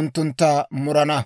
unttuntta murana.